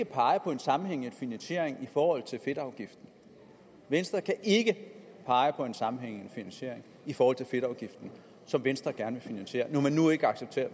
pege på en sammenhængende finansiering i forhold til fedtafgiften venstre kan ikke pege på en sammenhængende finansiering i forhold til fedtafgiften som venstre gerne vil finansiere når man nu ikke accepterer